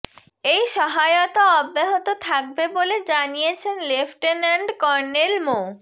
এই সহায়তা অব্যাহত থাকবে বলে জানিয়েছেন লেফটেন্যান্ট কর্নেল মো